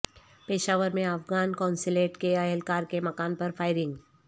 پشاور میں افغان قونصلیٹ کے اہلکار کے مکان پر فائرنگ